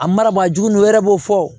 A mara ma jugu wɛrɛ b'o fɔ wo